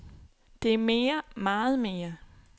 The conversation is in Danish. Det er mere, meget mere.